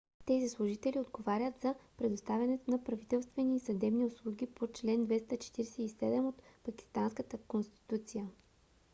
тези служители отговарят за предоставянето на правителствени и съдебни услуги по чл. 247 от пакистанската конституция